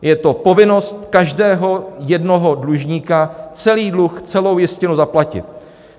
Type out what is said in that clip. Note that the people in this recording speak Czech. Je to povinnost každého jednoho dlužníka celý dluh, celou jistinu zaplatit.